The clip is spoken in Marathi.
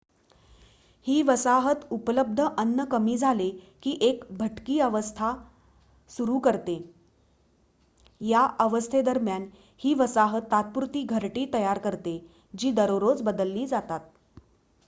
ही वसाहत उपलब्ध अन्न कमी झाले की एक भटकी अवस्था सुरु करते या अवस्थेदरम्यान ही वसाहत तात्पुरती घरटी तयार करते जी दररोज बदलली जातात